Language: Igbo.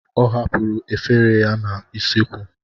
Ọ hapụrụ efere ya n'usekwu.